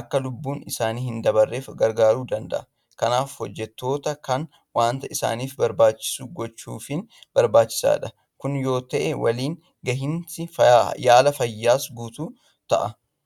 akka lubbuun isaanii hindabarreef gargaaruu danda'eera. Kanaaf hojjettoota kana waanta isaaniif barbaachisu gochuufiin barbaachisaadha. Kun yoo ta'e waliin gahinsi yaala fayyaas guutuu ta'a.